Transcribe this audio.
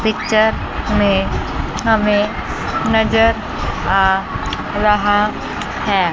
Picture में हमें नज़र आ रहा है।